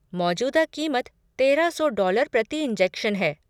मौजूदा कीमत तेरह सौ डॉलर प्रति इंजेक्शन है।